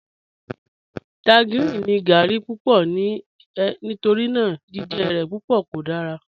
Tangerine ni gáarí púpọ̀ nínu è nítorína jìjẹ rẹ̀ púpọ̀ kò dára